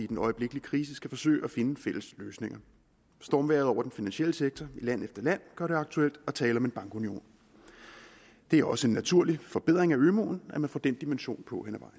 den øjeblikkelige krise skal forsøge at finde fælles løsninger stormvejret over den finansielle sektor i land efter land gør det aktuelt at tale om en bankunion det er også en naturlig forbedring af ømuen at man får den dimension på